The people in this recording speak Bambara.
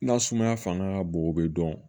Na sumaya fanga ka bon o be dɔn